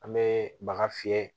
An bɛ baga fiyɛ